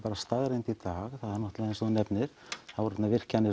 staðreynd það er náttúrulega eins og þú nefnir það voru virkjanir